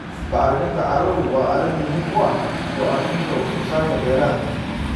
Bacriminta carradu waa arrin muhiim u ah go'aaminta wax soo saarka beeraha.